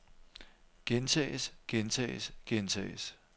gentages gentages gentages